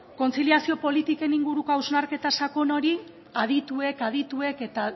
kontziliazio politiken inguruko hausnarketa sakon hori adituek adituek eta